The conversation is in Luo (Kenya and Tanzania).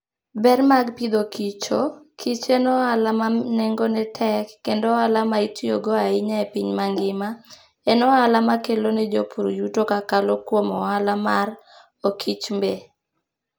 Ber mag Agriculture and Foodo: kich en ohala ma nengone tek, kendo ohala ma itiyogo ahinya e piny mangima, en ohala makelo ne jopur yuto kokalo kuom ohala mar okichmbe.